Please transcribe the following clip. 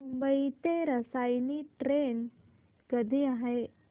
मुंबई ते रसायनी ट्रेन कधी आहे